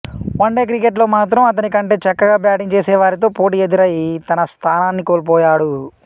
one day cricket లో మాత్రం అతనికంటే చక్కగా బ్యాటింగ్ చేసేవారితో పోటీ ఎదురై తన స్థానాన్ని కోల్పోయాడు